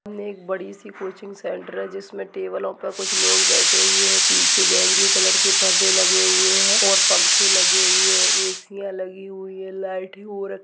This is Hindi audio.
ये एक बड़ी-सी कोचिंग सेंटर है जिसमें टेबलों पर कुछ लोग बैठे हुए है बीच बैंगनी कलर के पर्दे लगे हुए है और पंखे लगे हुए है एसीयां लगी हुई है लाइट और --